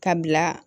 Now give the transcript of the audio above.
Ka bila